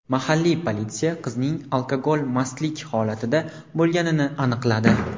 Mahalliy politsiya qizning alkogol mastlik holatida bo‘lganini aniqladi.